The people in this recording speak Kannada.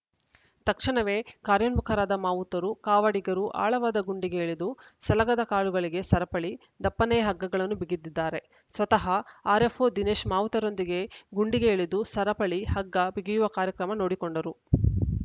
ತಕ್ಷಣವೇ ಕಾರ್ಯೋನ್ಮುಖರಾದ ಮಾವುತರು ಕಾವಾಡಿಗರು ಆಳವಾದ ಗುಂಡಿಗೆ ಇಳಿದು ಸಲಗದ ಕಾಲುಗಳಿಗೆ ಸರಪಳಿ ದಪ್ಪನೆಯ ಹಗ್ಗಗಳನ್ನು ಬಿಗಿದಿದ್ದಾರೆ ಸ್ವತಃ ಆರ್‌ಎಫ್‌ಓ ದಿನೇಶ್ ಮಾವುತರೊಂದಿಗೆ ಗುಂಡಿಗೆ ಇಳಿದು ಸರಪಳಿ ಹಗ್ಗ ಬಿಗಿಯುವ ಕಾರ್ಯ ನೋಡಿಕೊಂಡರು